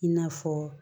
I n'a fɔ